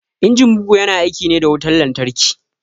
Injin bugu ya na aiki ne da wutan lantarki